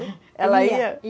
Ela ia?